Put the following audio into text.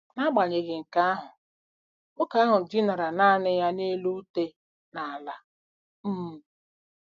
N'agbanyeghị nke ahụ, nwoke ahụ dinara nanị ya n'elu ute n'ala. um